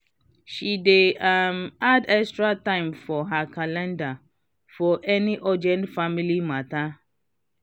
she dey um add extra time for her calendar for any urgent family matter.